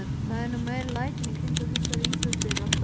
Það eru nú meiri lætin í kringum þessar íþróttir alltaf.